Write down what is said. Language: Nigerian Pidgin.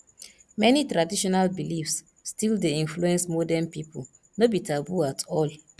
many traditional beliefs still dey influence modern pipo no be taboo at all